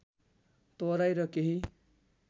तराई र केही